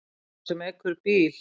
Sá sem ekur bíl.